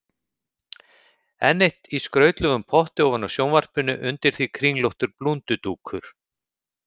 Enn eitt í skrautlegum potti ofan á sjónvarpinu, undir því kringlóttur blúndudúkur.